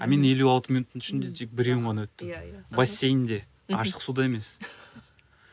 ал мен елу алты минуттың ішінде тек біреуін ғана өттім иә иә бассейнде мхм ашық суда емес